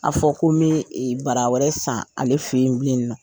A fɔ ko me bara wɛrɛ san ale fɛ yen bilen nɔ.